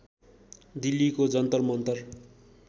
दिल्लीको जन्तर मन्तर